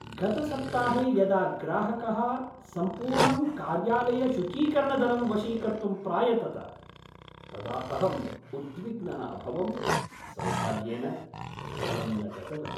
गतसप्ताहे यदा ग्राहकः सम्पूर्णं कार्यालयशुचीकरणदलं वशीकर्तुं प्रायतत तदा अहं उद्विग्नः अभवम्। सौभाग्येन दलं न गतवत्।